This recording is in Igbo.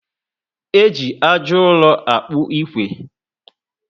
Eji ájá uro akpu ikwe